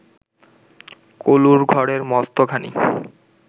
কলুর ঘরে মস্ত ঘানি